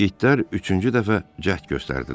İtlər üçüncü dəfə cəhd göstərdilər.